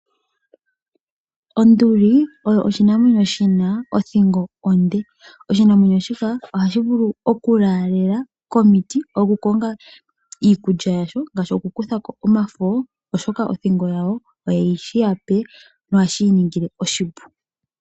Onduli oyo oshinamwenyo shi na othingo onde. Oshinamwenyo shika oha shi vulu okulalela komiti okukonga iikulya yasho ngaashi okukuthako omafo oshoka othingo yawo oye shi yape nohashi yiningile oshipu.